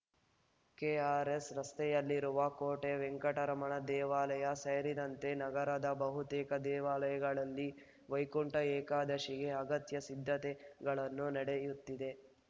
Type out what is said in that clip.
KRS ರಸ್ತೆಯಲ್ಲಿರುವ ಕೋಟೆ ವೆಂಕಟರಮಣ ದೇವಾಲಯ ಸೇರಿದಂತೆ ನಗರದ ಬಹುತೇಕ ದೇವಾಲಯಗಳಲ್ಲಿ ವೈಕುಂಠ ಏಕಾದಶಿಗೆ ಅಗತ್ಯ ಸಿದ್ಧತೆಗಳುನ್ನು ನಡೆಯುತ್ತಿದೆ